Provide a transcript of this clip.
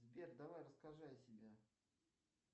сбер давай расскажи о себе